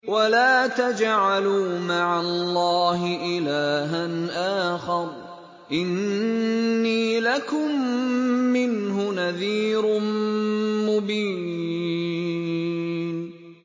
وَلَا تَجْعَلُوا مَعَ اللَّهِ إِلَٰهًا آخَرَ ۖ إِنِّي لَكُم مِّنْهُ نَذِيرٌ مُّبِينٌ